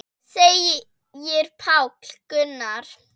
segir Páll Gunnar.